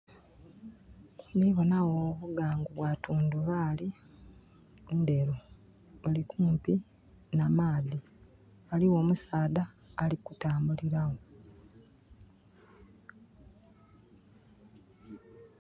Ndibona wo olugangu lwa tundubali nderu eri kumpi n'amaadhi. Waliwo omusaadha ali kutambulira wo